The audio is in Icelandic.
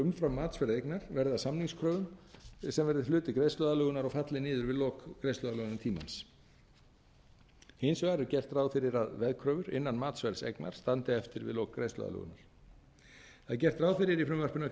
umfram matsverð eignar verði að samningskröfum sem verði hluti greiðsluaðlögunar og falli niður við lok greiðsluaðlögunartímans hins vegar er gert ráð fyrir að veðkröfur innan matsverðs eignar standi eftir við lok greiðsluaðlögunar það er gert ráð í frumvarpinu að